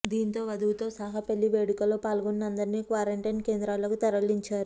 దీంతో వధువుతో సహా పెళ్లి వేడుకలో పాల్గొన్న అందరిని క్వారంటైన్ కేంద్రాలకు తరలించారు